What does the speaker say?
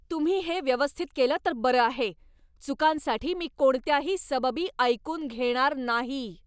तुम्ही हे व्यवस्थित केलं तर बरं आहे. चुकांसाठी मी कोणत्याही सबबी ऐकून घेणार नाही.